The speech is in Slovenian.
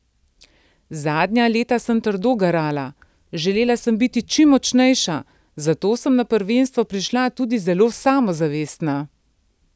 Zadnja leta sem trdo garala, želela sem biti čim močnejša, zato sem na prvenstvo prišla tudi zelo samozavestna.